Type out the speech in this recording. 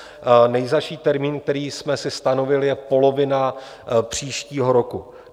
Nejzazší termín, který jsme si stanovili, je polovina příštího roku.